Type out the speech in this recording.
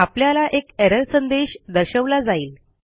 आपल्याला एक एरर संदेश दर्शवला जाईल